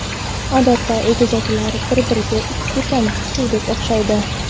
Odatda, egizaklar bir-biriga ikki tomchi suvdek o‘xshaydi.